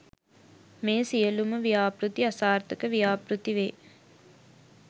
මේ සියලුම ව්‍යාපෘති අසාර්ථක ව්‍යාපෘතිවේ